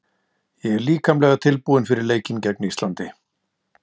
Ég er líkamlega tilbúinn fyrir leikinn gegn Íslandi.